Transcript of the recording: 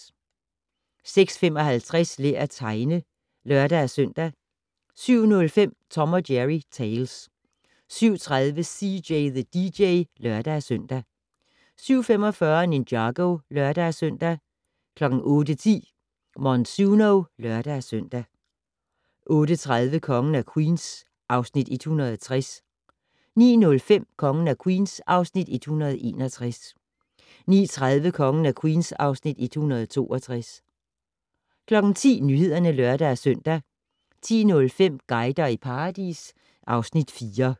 06:55: Lær at tegne (lør-søn) 07:05: Tom & Jerry Tales 07:30: CJ the DJ (lør-søn) 07:45: Ninjago (lør-søn) 08:10: Monsuno (lør-søn) 08:40: Kongen af Queens (Afs. 160) 09:05: Kongen af Queens (Afs. 161) 09:30: Kongen af Queens (Afs. 162) 10:00: Nyhederne (lør-søn) 10:05: Guider i paradis (Afs. 4)